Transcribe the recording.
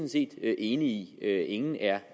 set enig i ingen er